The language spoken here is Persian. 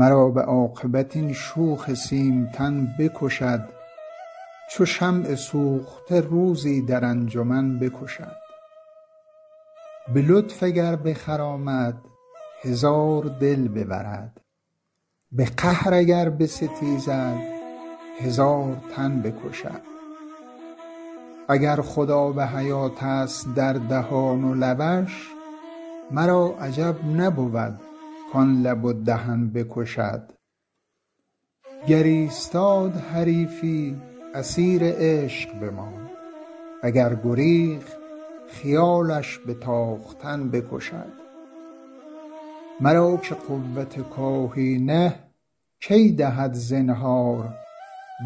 مرا به عاقبت این شوخ سیمتن بکشد چو شمع سوخته روزی در انجمن بکشد به لطف اگر بخرامد هزار دل ببرد به قهر اگر بستیزد هزار تن بکشد اگر خود آب حیاتست در دهان و لبش مرا عجب نبود کان لب و دهن بکشد گر ایستاد حریفی اسیر عشق بماند و گر گریخت خیالش به تاختن بکشد مرا که قوت کاهی نه کی دهد زنهار